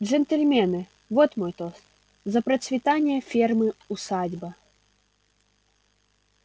джентльмены вот мой тост за процветание фермы усадьба